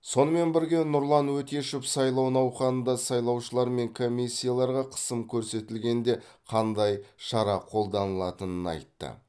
сонымен бірге нұрлан өтешев сайлау науқанында сайлаушылар мен комиссияларға қысым көрсетілгенде қандай шара қолданылатынын айтты